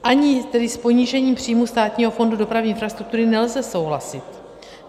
Ani tedy s ponížením příjmu Státního fondu dopravní infrastruktury nelze souhlasit.